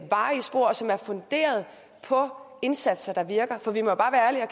varige spor og som er funderet på indsatser der virker for vi må bare være ærlige og